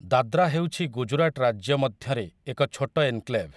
ଦାଦ୍ରା ହେଉଛି ଗୁଜରାଟ ରାଜ୍ୟ ମଧ୍ୟରେ ଏକ ଛୋଟ ଏନକ୍ଲେଭ ।